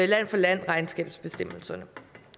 land for land bestemmelserne